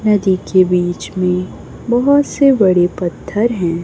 नदी के बीच में बहोत से बड़े पत्थर हैं।